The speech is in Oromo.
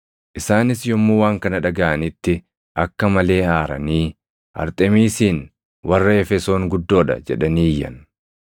Isaanis yommuu waan kana dhagaʼanitti akka malee aaranii, “Arxemiisiin warra Efesoon guddoo dha!” jedhanii iyyan.